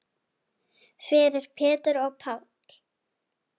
Fyrir Pétur og Pál.